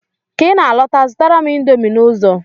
Ka I na-alọta, zụtara m indomi n'ụzọ!